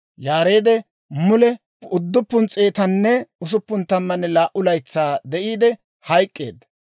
Yaareed mule 962 laytsaa de'iide hayk'k'eedda.